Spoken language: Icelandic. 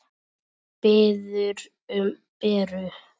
Biður um Beru.